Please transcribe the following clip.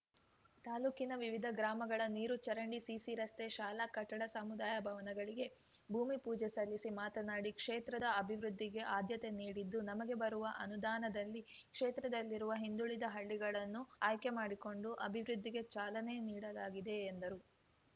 ತಾಲೂಕಿನ ವಿವಿಧ ಗ್ರಾಮಗಳ ನೀರು ಚರಂಡಿ ಸಿಸಿ ರಸ್ತೆ ಶಾಲ ಕಟ್ಟಡ ಸಮುದಾಯ ಭವನಗಳಿಗೆ ಭೂಮಿಪೂಜೆ ಸಲ್ಲಿಸಿ ಮಾತನಾಡಿ ಕ್ಷೇತ್ರದ ಆಭಿವೃದ್ಧಿಗೆ ಆದ್ಯತೆ ನೀಡಿದ್ದು ನಮಗೆ ಬರುವ ಅನುದಾನದಲ್ಲಿ ಕ್ಷೇತ್ರದಲ್ಲಿರುವ ಹಿಂದುಳಿದ ಹಳ್ಳಿಗಳನ್ನು ಆಯ್ಕೆ ಮಾಡಿಕೊಂಡು ಆಭಿವೃದ್ಧಿಗೆ ಚಾಲನೆ ನೀಡಲಾಗಿದೆ ಎಂದರು